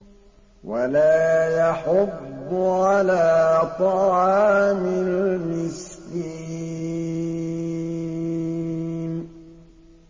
وَلَا يَحُضُّ عَلَىٰ طَعَامِ الْمِسْكِينِ